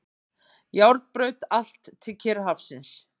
Járnbraut allt til Kyrrahafsins.